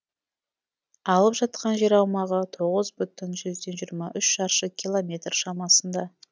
алып жатқан жер аумағы тоғыз бүтін жүзден жиырма үш шаршы километр шамасында